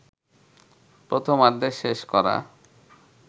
প্রথমার্ধ শেষ করা